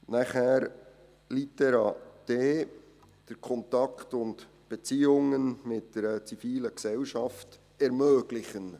Zu Litera d und den Kontakt und Beziehungen mit einer zivilen Gesellschaft ermöglichen: